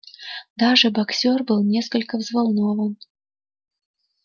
даже боксёр был несколько взволнован